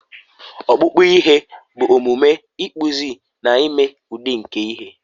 ọkpụkpụ ihe bụ omume ịkpụzi na ime udi nke ihe